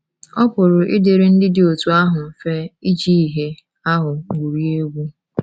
Ọ pụrụ ịdịrị ndị dị otú ahụ mfe iji ìhè ahụ gwurie egwu.